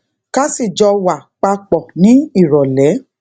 ká sì jọ wà pa pò ní ìròlé